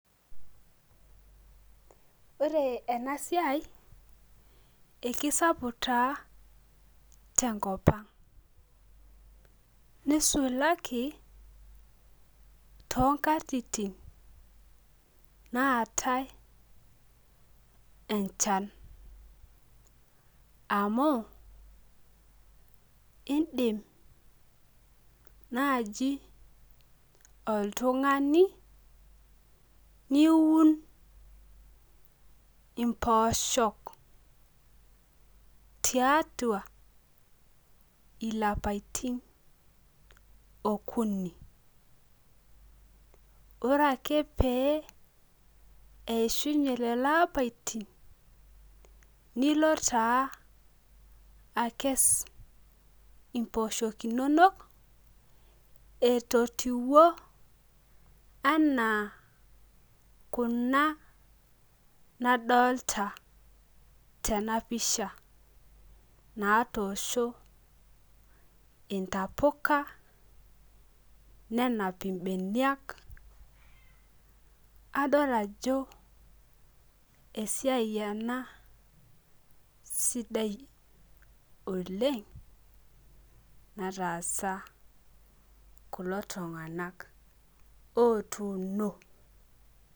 Ore ena siai, ekisapuk tee te nkop ang, nisulaki too nkatitin naatae enchan. amu idim naaji oltungani niun imposhok, tiatua ilapaitin okuni. ore ake pee eishunye lelo apaitin nilo taa Akes imposhok inonok etotiwuo anaa Kuna, nadookta tena pisha. natoosho intapuka. nenap ibeniak. adol ajo esiai ena sidai oleng. naatasaa kulo tunganak otuuno.